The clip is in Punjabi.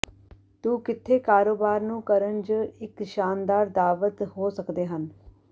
ਤੂੰ ਕਿੱਥੇ ਕਾਰੋਬਾਰ ਨੂੰ ਕਰਨ ਜ ਇੱਕ ਸ਼ਾਨਦਾਰ ਦਾਅਵਤ ਹੋ ਸਕਦੇ ਹਨ